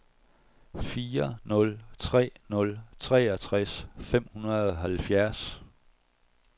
fire nul tre nul treogtres fem hundrede og halvfjerds